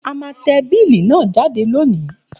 A má te bill náà jáde lónìí